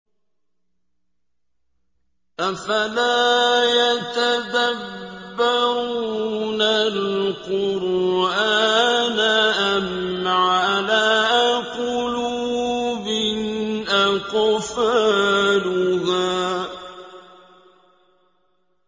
أَفَلَا يَتَدَبَّرُونَ الْقُرْآنَ أَمْ عَلَىٰ قُلُوبٍ أَقْفَالُهَا